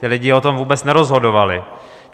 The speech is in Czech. Ti lidé o tom vůbec nerozhodovali.